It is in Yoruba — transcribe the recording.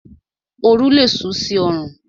Oru lé sú sí orùn